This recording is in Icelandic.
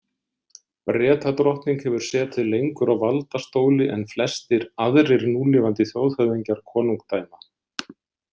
Bretadrottning hefur setið lengur á valdastóli en flestir aðrir núlifandi þjóðhöfðingar konungdæma.